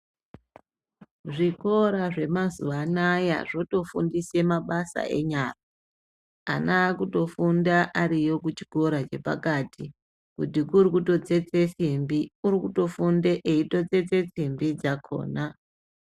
Zvikora zvemazuva anaya zvotofundise mabasa enyara ana akutofunda ariyo kuchikora chepakati. Kuti kuri kutotsetse simbi kuri kutofunde eitotsetse simbi dzakona.